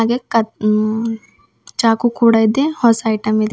ಮತ್ತ್ ಕತ್ ಹ್ಮ್ಮ್ ಚಾಕು ಕೂಡಾ ಇದೆ ಹೊಸಾ ಐಟಮ್ ಇದೆ.